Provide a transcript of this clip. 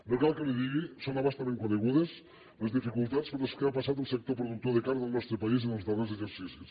no cal que li ho digui que són a bastament conegudes les dificultats per les quals ha passat el sector productor de carn del nostre país en els darrers exercicis